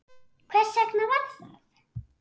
Hvers vegna var það?